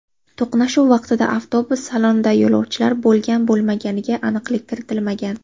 To‘qnashuv vaqtida avtobus salonida yo‘lovchilar bo‘lgan-bo‘lmaganiga aniqlik kiritilmagan.